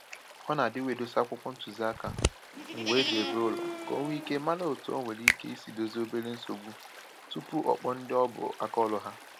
Ọ na-adịwa edosa akwụkwọ ntụziaka, ngwa e ji ebi ụlọ, ka o nwee íké mara otu o nwere ike isi Ịdòzie obere nsogbu, tupu o kpọọ ndị ọ bụ aka ọrụ ha.